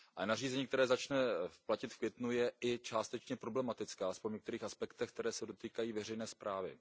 Nařízení, které začne platit v květnu, je i částečně problematické, alespoň v některých aspektech, které se dotýkají veřejné správy.